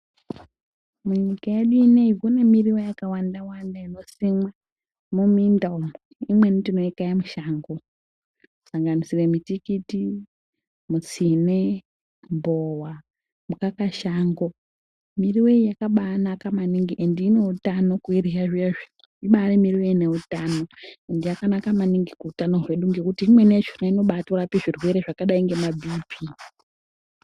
Munyika yedu ineyi kunemiriwo yakawanda wanda inosimwa miminda umo imweni tinoikaya mushango, kusanganisira mutikiti, mutsine, mbowa, mukakashango, miriwo iyi yakabanaka maningi ende ineutano kuirya maningi ibairi miriwo ineutano ende yakanaka maningi kuutano hwedu ngekuti imweni yacho inorapa zvirwere zwakadai ngema biipii.